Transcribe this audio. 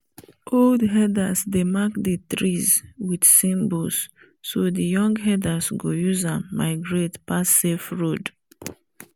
older herders dey mark the trees with symbols so the young herders go use am migrate pass safe road